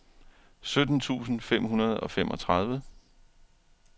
sytten tusind fem hundrede og femogtredive